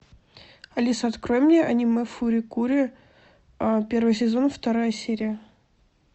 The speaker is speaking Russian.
алиса открой мне аниме фури кури первый сезон вторая серия